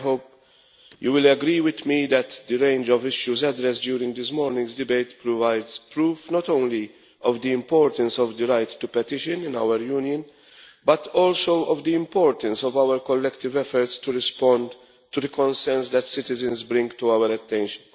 I hope you will agree with me that the range of issues addressed during this morning's debate provides proof not only of the importance of the right to petition in our Union but also of the importance of our collective efforts to respond to the concerns that citizens bring to our attention.